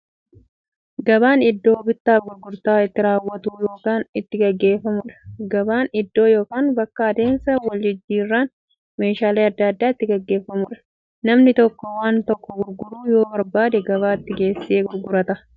Gabaan iddoo bittaaf gurgurtaan itti raawwatu yookiin itti gaggeeffamuudha. Gabaan iddoo yookiin bakka adeemsa waljijjiiraan meeshaalee adda addaa itti gaggeeffamuudha. Namni tokko waan tokko gurguruu yoo barbaade, gabaatti geessee gurgurata.